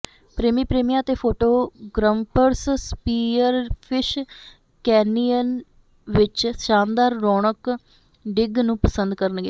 ਪ੍ਰੇਮੀ ਪ੍ਰੇਮੀਆਂ ਅਤੇ ਫੋਟੋ ਗ੍ਰੰਪਰਸ ਸਪੀਅਰਫਿਸ਼ ਕੈਨਿਯਨ ਵਿੱਚ ਸ਼ਾਨਦਾਰ ਰੁੱਖੌਕ ਡਿੱਗ ਨੂੰ ਪਸੰਦ ਕਰਨਗੇ